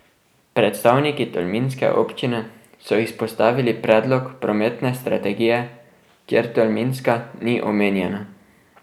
Predstavniki tolminske občine so izpostavili predlog prometne strategije, kjer Tolminska ni omenjena.